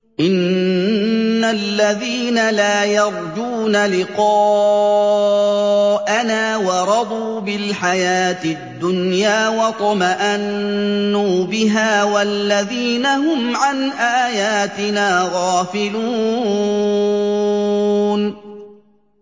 إِنَّ الَّذِينَ لَا يَرْجُونَ لِقَاءَنَا وَرَضُوا بِالْحَيَاةِ الدُّنْيَا وَاطْمَأَنُّوا بِهَا وَالَّذِينَ هُمْ عَنْ آيَاتِنَا غَافِلُونَ